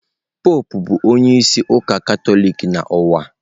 Popụ bụ onye isi ụka Katọlik n'ụwa.